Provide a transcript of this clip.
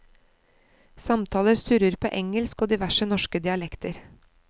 Samtaler surrer på engelsk og diverse norske dialekter.